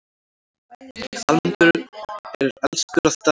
Almenningur er elskur að Daða.